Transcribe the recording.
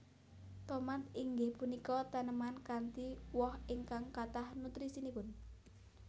Tomat inggih punika taneman kanthi woh ingkang kathah nutrisinipun